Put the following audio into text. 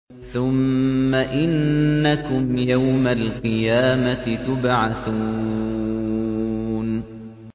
ثُمَّ إِنَّكُمْ يَوْمَ الْقِيَامَةِ تُبْعَثُونَ